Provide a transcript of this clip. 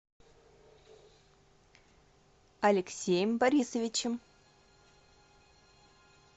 алексеем борисовичем